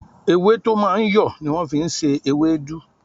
Ewé tó máa ń yọ̀ ni wọ́n fi ń ṣe ewédú